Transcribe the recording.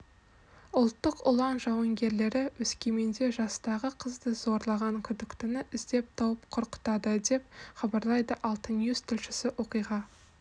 ұлттық ұлан жауынгерлері өскеменде жастағы қызды зорлаған күдіктіні іздеп тауып құрықтады деп хабарлайды алтайньюс тілшісі оқиға